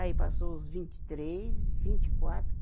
Aí passou os vinte e três, vinte e quatro